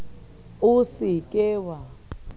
o se ke wa ya